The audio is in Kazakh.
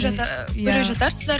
көре жатарсыздар